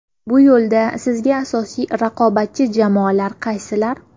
Bu yo‘lda sizga asosiy raqobatchi jamoalar qaysilar?